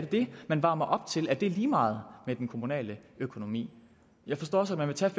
det man varmer op til at det er lige meget med den kommunale økonomi jeg forstår at man vil tage